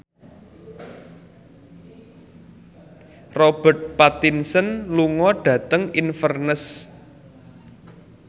Robert Pattinson lunga dhateng Inverness